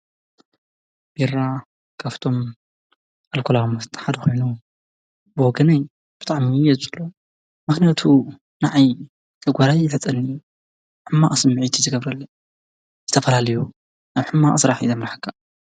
ቢራ ካብቶም ኣልኮላዊ መስተ ሓደ ኮይኑ ብወገነይ ብጣዕሚ እየ ዝፀልኦ ምክንያቱም ንዓይ ጨጎራይ ይልሕፀኒ ሕማቅ ስምዒት እዪ ዝገብረለይ ዝተፈላለዩ ናብ ሕማቅ ስራሕ እዪ ዘምርሐካ ።